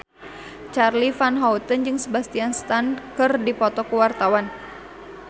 Charly Van Houten jeung Sebastian Stan keur dipoto ku wartawan